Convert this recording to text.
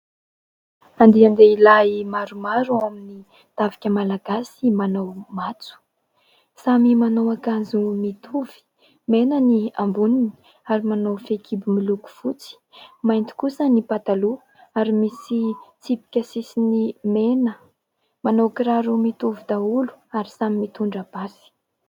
Andian-dehilahy maromaro ao amin'ny tafika malagasy manao matso samy manao akanjo mitovy : mena ny amboniny ary manao fehikibo miloko fotsy. Mainty kosa ny pataloha ary misy tsipika sisiny mena. Manao kiraro mitovy daholo ary samy mitondra basy.